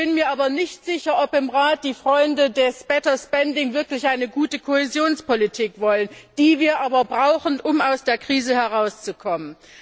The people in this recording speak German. Ich bin mir aber nicht sicher, ob im Rat die Freunde des wirklich eine gute Kohäsionspolitik wollen, die wir aber brauchen, um aus der Krise herauszukommen.